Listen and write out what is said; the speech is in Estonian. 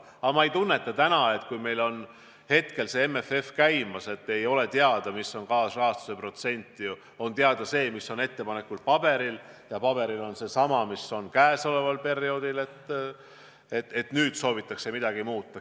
Aga ma ei tunneta täna, kui meil on käimas MFF-i läbirääkimised ja ei ole teada, milline saab olema kaasrahastuse protsent – teada on see, mis on ettepanekuna paberil, ja paberil on seesama protsent, mis kehtib käesoleval perioodil –, et nüüd soovitakse midagi muuta.